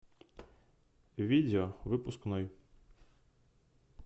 видео выпускной